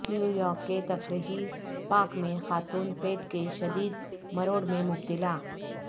New York کے تفریحی park میں خاتون پیٹ کے شدید مروڑ میں مبتلا